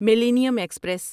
millennium express